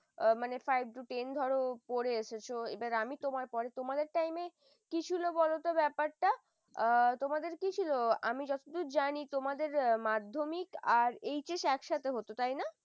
ও মানে five to ten ধরো পরে এসেছো এবার আমি তোমার পরে তোমাদের এ কি ছিল ব্যাপারটা তোমাদের কি ছিল আমি যতদূর জানি তোমাদের মাধ্যমিক HS একসাথে হত তাই না?